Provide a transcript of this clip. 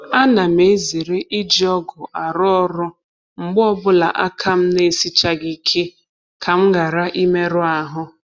A na m ezere iji ọgụ arụ ọrụ mgbe ọbụla aka m n'esichaaghị ike ka m ghara imerụ ahụ.